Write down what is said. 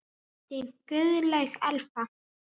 Þín Guðlaug Elfa.